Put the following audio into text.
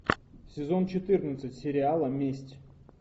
сезон четырнадцать сериала месть